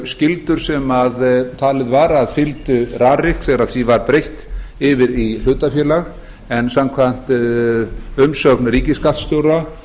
skyldur sem talið var að fylgdu rarik þegar því var breytt yfir í hlutafélag en samkvæmt umsögn ríkisskattstjóra